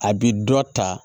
A bi dɔ ta